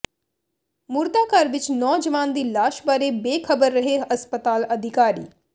ਮੁਰਦਾਘਰ ਵਿੱਚ ਨੌਜਵਾਨ ਦੀ ਲਾਸ਼ ਬਾਰੇ ਬੇਖ਼ਬਰ ਰਹੇ ਹਸਪਤਾਲ ਅਧਿਕਾਰੀ